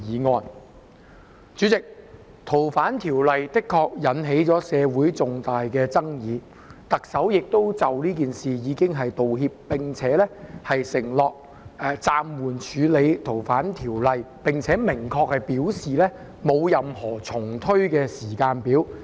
代理主席，《逃犯條例》的修訂的確引起社會重大爭議，特首亦已就此事道歉，並承諾暫緩處理《逃犯條例》的修訂，亦明確表示沒有任何重推時間表。